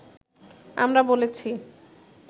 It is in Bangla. আমরা বলেছি